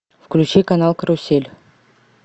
включи канал карусель